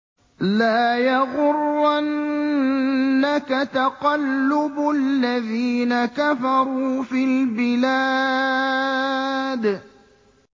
لَا يَغُرَّنَّكَ تَقَلُّبُ الَّذِينَ كَفَرُوا فِي الْبِلَادِ